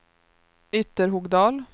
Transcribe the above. Ytterhogdal